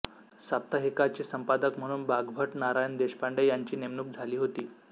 साप्ताहिकाची संपादक म्हणून बाग्भट्ट नारायण देशपांडे यांची नेमणूक झाली होती